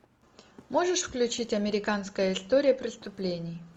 можешь включить американская история преступлений